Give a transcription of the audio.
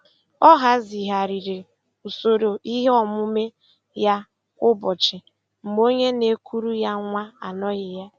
Ọ hazigharịrị usoro ihe omume ya kwa ụbọchị mgbe onye na-ekuru ya nwa anoghị ya.